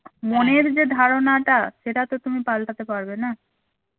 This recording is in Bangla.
মনের যে ধারণাটা সেটা তো তুমি পাল্টাতে পারবে না